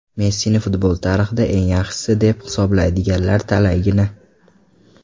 Messini futbol tarixida eng yaxshisi deb hisoblaydiganlar talaygina.